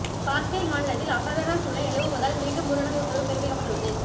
காஷ்மீர் மாநிலத்தில் அசாதரண சூழ்நிலை நிலவுவதால் மீண்டும் ஊரடங்கு உத்தரவு பிறப்பிக்கப்பட்டுள்ளது